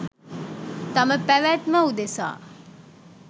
තම පැවැත්ම උදෙසා